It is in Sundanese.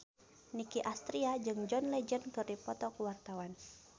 Nicky Astria jeung John Legend keur dipoto ku wartawan